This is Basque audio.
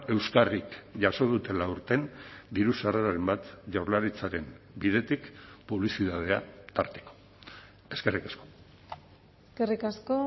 euskarrik jaso dutela aurten diru sarreraren bat jaurlaritzaren bidetik publizitatea tarteko eskerrik asko eskerrik asko